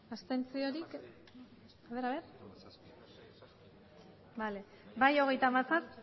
aurkako